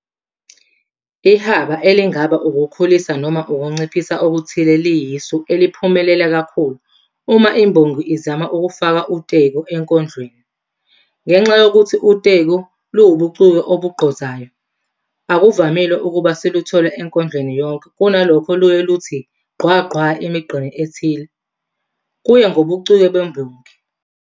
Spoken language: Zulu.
Ihaba elingaba ukukhulisa noma ukunciphisa okuthile liyisu eliphumelela kakhulu uma imbongi izama ukufaka uteku enkondlweni. Ngenxa yokuthi uteku luwubuciko obugqozayo, akuvamile ukuba siluthole enkondlweni yonke, kunalokho luye luthi gqwa gqwa emigqeni ethile, kuye ngobuciko bembongi.